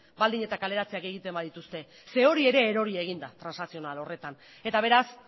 baldin eta kaleratzeak egiten badituzte hori ere erori egin da transakzional horretan eta beraz